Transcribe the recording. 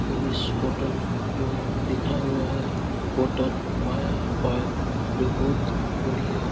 और इस होटल में लिखा हुआ है होटल माया जो बहुत बड़ी है।